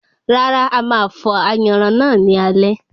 Rárá, ama fọ̀ ayanran náà ní alẹ́